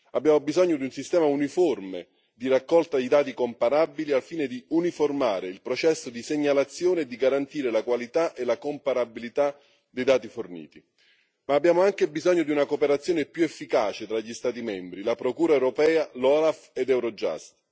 Abbiamo bisogno di un sistema uniforme di raccolta di dati comparabili al fine di uniformare il processo di segnalazione e di garantire la qualità e la comparabilità dei dati forniti, ma abbiamo anche bisogno di una cooperazione più efficace tra gli Stati membri, la Procura europea, l'OLAF ed Eurojust.